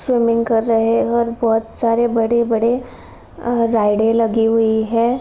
Swimming कर रहे हैं और बोहोत सारे बड़े-बड़े राइड लगी हुई हैं।